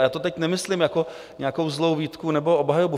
A já to teď nemyslím jako nějakou zlou výtku nebo obhajobu.